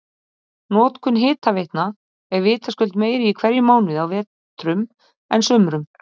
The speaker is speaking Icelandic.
notkun hitaveitna er vitaskuld meiri í hverjum mánuði á vetrum en sumrum